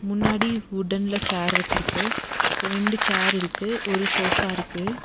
முன்னாடி உட்டன்ல சேர் வெச்சிருக்கு ரெண்டு சேர் இருக்கு ஒரு சோஃபா இருக்கு.